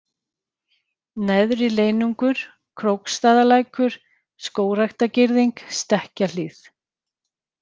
Neðri-Leyningur, Króksstaðalækur, Skógræktagirðing, Stekkahlíð